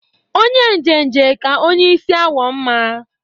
Onye njenje ka onye isi awọ mma